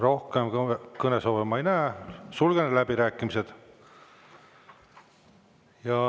Rohkem kõnesoove ma ei näe, sulgen läbirääkimised.